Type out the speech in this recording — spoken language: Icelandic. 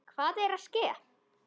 Hvað er að ske?